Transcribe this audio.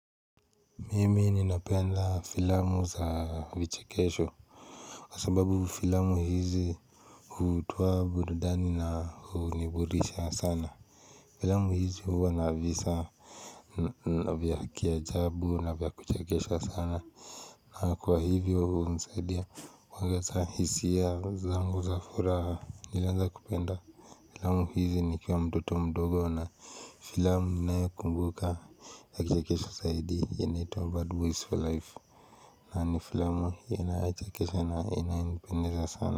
Mimi ninapenda filamu za vichekesho Kwa sababu filamu hizi hutuwa burudani na huniburisha sana Filamu hizi huwa na visa navya kiajabu na vya kuchekesha sana na kwa hivyo unisaidia kwa kawaza hisia zangu za furaha nilanza kupenda Filamu hizi nikiwa mtoto mdogo na filamu ninayo kumbuka ya vichekesho saidi inaitwa bad boys for life na ni filamu inayo chekesha na inanipendeza sana.